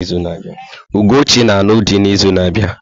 Ugochi na-alụ dị n'izu na-abịa.